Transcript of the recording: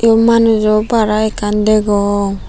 em manujo barah ekkan degong.